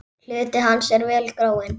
Hluti hans er vel gróinn.